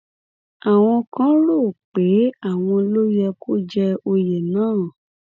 àwọn kan rò ó pé àwọn ló yẹ kó jẹ òye náà